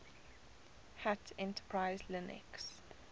hat enterprise linux